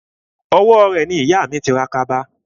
Owó rẹ̀ ni ìyà mi ti ra kaba